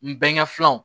N bɛnkɛ filanw